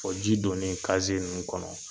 O ji done kaze ninnu kɔnɔ